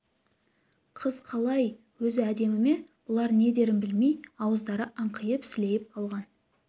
қыз қалай өзі әдемі ме бұлар не дерін білмей ауыздары аңқиып сілейіп қалған